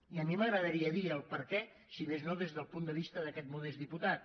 i a mi m’agradaria dir el perquè si més no des del punt de vista d’aquest mo·dest diputat